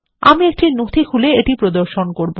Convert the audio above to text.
আমি একটি নথি খুলে এটি প্রদর্শন করব